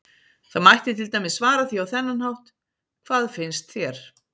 Það mætti til dæmis svara því á þennan hátt: Hvað finnst þér?